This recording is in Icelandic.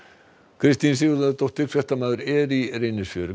Kristín Sigurðardóttir fréttamaður er í Reynisfjöru